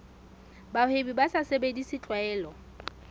bahwebi ba sa sebedise tlwaelo